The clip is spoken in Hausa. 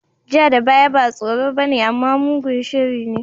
Ja da baya ba tsoro bane amma mugun shiri ne.